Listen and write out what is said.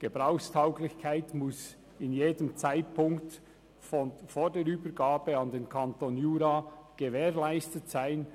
Gebrauchstauglichkeit muss zu jedem Zeitpunkt vor der Übergabe an den Kanton Jura gewährleistet sein.